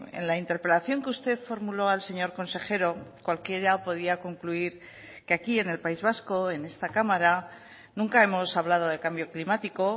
en la interpelación que usted formuló al señor consejero cualquiera podía concluir que aquí en el país vasco en esta cámara nunca hemos hablado de cambio climático